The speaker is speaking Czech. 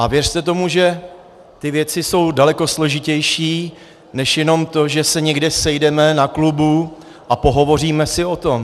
A věřte tomu, že ty věci jsou daleko složitější než jenom to, že se někde sejdeme na klubu a pohovoříme si o tom.